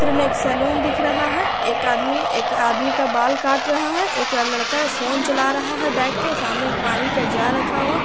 चित्र में एक सालों दिख रहा है एक आदमी एक आदमी का बाल काट रहा है एक लड़का फोन चला रहा है बैठकर सामने एक पानी का जार रखा हुआ है।